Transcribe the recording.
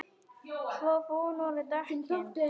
Svo fúin voru dekkin.